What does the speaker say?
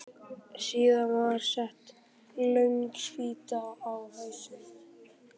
Síðan var sett löng spýta á hausinn.